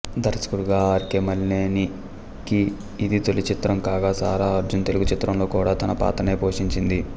దర్శకుడిగా R K మలినేనికి ఇది తొలిచిత్రం కాగా సారా అర్జున్ తెలుగు చిత్రంలో కూడా తన పాత్రనే పోషించింది